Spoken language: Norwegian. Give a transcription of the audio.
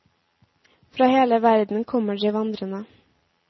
Fra hele verden kommer de vandrende.